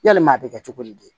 Yalima a bɛ kɛ cogo di